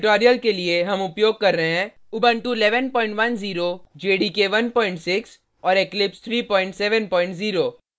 इस tutorial में हम उपयोग कर रहे हैं उबंटु 110 jdk 16 और eclipse 370